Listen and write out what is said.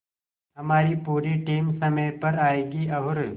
हमारी पूरी टीम समय पर आएगी और